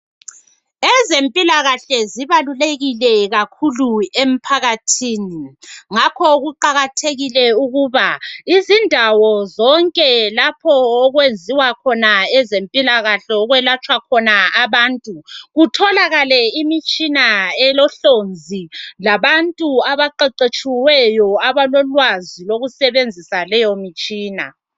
Ezempilakahle zibalulekile kakhulu emphakathini. Ngakho kuqakathekile ukuba izindawo zonke okwenziwa khona owezempilakahle okwelatshwa abantu kutholakale imitshina elohlonzi labantu abaqeqetshiweyo abalolwazi lokusebenzisa leyo mitshina.